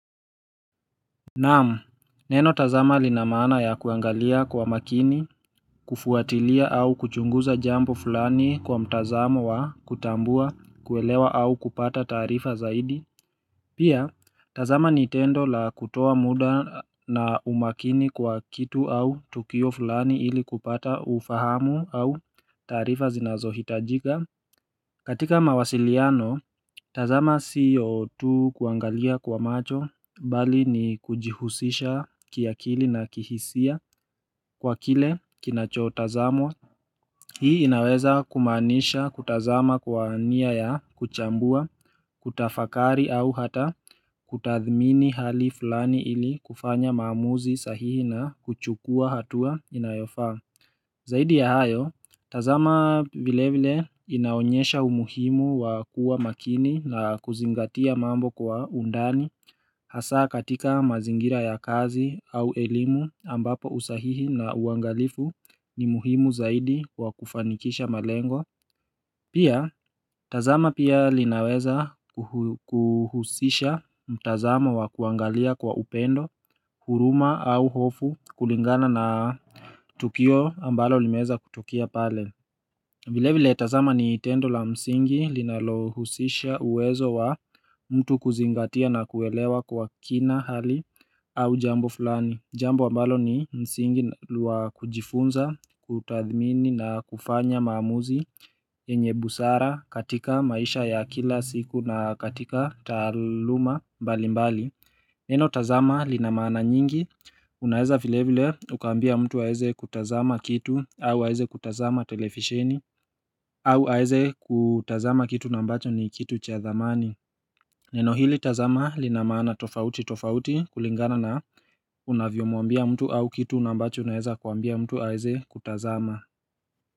Naam, neno tazama linamaana ya kuangalia kwa makini, kufuatilia au kuchunguza jambo fulani kwa mtazamo wa kutambua, kuelewa au kupata taarifa zaidi. Pia, tazama nintendo la kutoa muda na umakini kwa kitu au tukio fulani ili kupata ufahamu au taarifa zinazohitajika. Katika mawasiliano, tazama siyo tu kuangalia kwa macho bali ni kujihusisha kiakili na kihisia kwa kile kinachotazamwa. Hii inaweza kumaanisha kutazama kwa ania ya kuchambua, kutafakari au hata kutathmini hali fulani ili kufanya maamuzi sahihi na kuchukua hatua inayofaa. Zaidi ya hayo, tazama vile vile inaonyesha umuhimu wa kuwa makini na kuzingatia mambo kwa undani hasa katika mazingira ya kazi au elimu ambapo usahihi na uangalifu ni muhimu zaidi wa kufanikisha malengo. Pia tazama pia linaweza kuhusisha mtazamo wa kuangalia kwa upendo, huruma au hofu kulingana na tukio ambalo limeweza kutokea pale. Vile vile tazama ni tendo la msingi linalo husisha uwezo wa mtu kuzingatia na kuelewa kwa kina hali au jambo fulani. Jambo ambalo ni msingi wa kujifunza, kutathmini na kufanya maamuzi. Yenye busara katika maisha ya kila siku na katika taaluma balimbali. Neno tazama linamana nyingi Unaweza vile vile ukambia mtu aweze kutazama kitu. Au aweze kutazama telefisheni. Au aweze kutazama kitu na ambacho ni kitu cha thamani. Neno hili tazama linamaana tofauti tofauti kulingana na unavyo mwambia mtu au kitu ambacho unaweza kuambia mtu aweze kutazama.